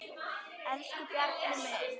Elsku Bjarni minn.